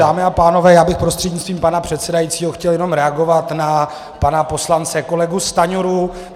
Dámy a pánové, já bych prostřednictvím pana předsedajícího chtěl jenom reagovat na pana poslance kolegu Stanjuru.